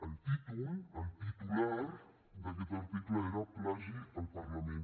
el títol el titular d’aquest article era plagi al parlament